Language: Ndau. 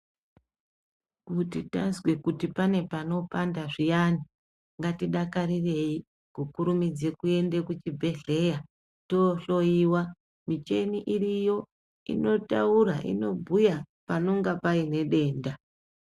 Kuti tazwe kuti pane panopanda zviyani ngatidakarirei kukurumudze kuende kuchibhedhlera yohloiwa micheni iriyo inotaura, inobhuya panonga paine denda.